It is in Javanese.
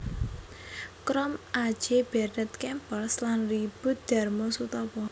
Krom A J Bernet Kempers lan Riboet Darmosoetopo